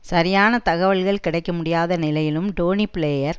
சரியான தகவல்கள் கிடைக்க முடியாத நிலையிலும் டோனி பிளேயர்